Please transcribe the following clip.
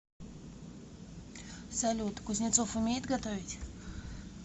салют кузнецов умеет готовить